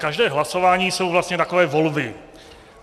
Každé hlasování jsou vlastně takové volby.